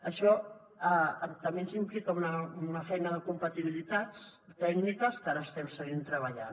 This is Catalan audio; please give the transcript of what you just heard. això també ens implica una feina de compatibilitats tècniques en que ara estem seguint treballant